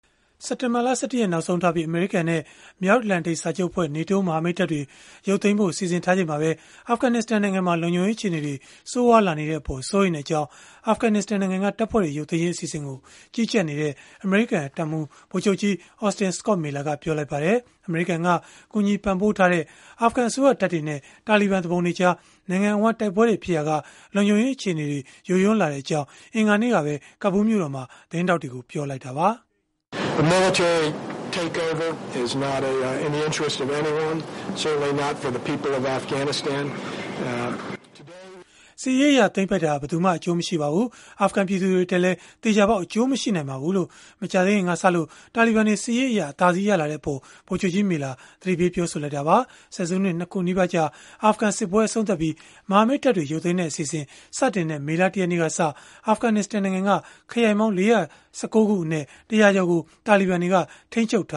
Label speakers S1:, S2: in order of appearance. S1: စက်တင်ဘာလ ၁၁ ရက် နောက်ဆုံးထားပြီး အမေရိကန်နဲ့ မြောက်အတ္တလန်တိတ်စာချုပ်အဖွဲ့ (NATO) မဟာမိတ်တပ်တွေ ရုပ်သိမ်းဖို့ စီစဉ်ထားချိန်မှာပဲ အာဖဂနစ္စတန်နိုင်ငံမှာ လုံခြုံရေး အခြေအနေတွေ ဆိုးရွားလာနေတဲ့အပေါ် စိုးရိမ်ကြောင်း အာဖဂနစ္စတန်နိုင်ငံက တပ်ဖွဲ့တွေ ရုပ်သိမ်းရေး အစီအစဉ်ကို ကြီးကြပ်နေတဲ့ အမေရိကန်တပ်မှူး ဗိုလ်ချုပ်ကြီး Austin Scott Miller ကပြောလိုက်ပါတယ်။ အမေရိကန်က ကူညီပံ့ပိုးထားတဲ့ အာဖဂန်အစိုးရတပ်တွေနဲ့ တာလီဘန် သူပုန်တွေကြား နိုင်ငံအဝန်း တိုက်ပွဲတွေ ဖြစ်ပွားနေရာက လုံခြုံရေး အခြေအနေတွေ ယိုယွင်းလာတဲ့အကြောင်း အင်္ဂါနေ့ကပဲ ကာဘူးလ် မြို့တော်မှာ သတင်းထောက်တွေကို ပြောလိုက်တာပါ။
S2: “စစ်ရေးအရ သိမ်းပိုက်တာဟာ ဘယ်သူ
S1: မှ အကျိုးမရှိနိုင်ပါဘူး။ အာဖဂန်ပြည်သူတွေ အတွက်လည်း သေချာပေါက် အကျိုးမရှိပါဘူး။” လို့ မကြာသေးခင်ကစလို့ တာလီဘန်တွေက စစ်ရေးအရ အသာစီး ရလာတဲ့အပေး ဗိုလ်ချုပ်ကြီး Miller က သတိပေးပြောဆိုလိုက်တာပါ။ ဆယ်စုနှစ် ၂ ခု နီးပါးကြာ အာဖဂန်စစ်ပွဲ အဆုံးသတ်ပြီး မဟာမိတ် တပ်ဖွဲ့တွေ ရုပ်သိမ်းတဲ့အစီအစဉ် စတင်တဲ့ မေလ ၁ ရက်နေ့ကစ အာဖဂနစ္စတန်နိုင်ငံက ခရိုင်ပေါင်း ၄၁၉ ခုအနက် ၁၀၀ ကျော်ကို
S3: တာလီဘန်တွေ ထိန်းချုပ်ထ